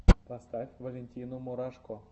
поставь валентину мурашко